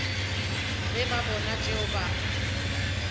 ge ba bona tšeo ba